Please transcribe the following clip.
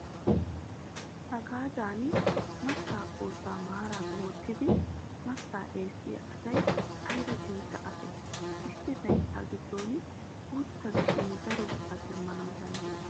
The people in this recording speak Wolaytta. Hagaadan mattaa kootta maaraara wottidi mattaa eessiyaa asayi ayiba cincca asee. Issi layittaa giddon guutta giishin daro biraa demmana danddayes.